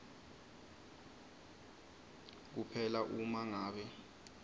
kuphela uma ngabe